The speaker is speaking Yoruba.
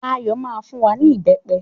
Ayọ̀ máa fún wa ní ìbẹpẹ